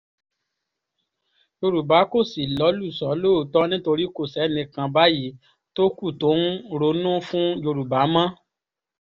yorùbá kò sì lọ́lùṣọ́ lóòótọ́ nítorí kò sẹ́nì kan báyìí tó kù tó ń ronú fún yorùbá mọ́